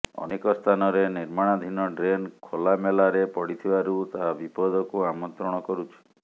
ଅନେକ ସ୍ଥାନରେ ନିର୍ମାଣାଧିନ ଡ୍ରେନ ଖୋଲାମେଲାରେ ପଡିଥିବାରୁ ତାହା ବିପଦକୁ ଆମନ୍ତ୍ରଣ କରୁଛି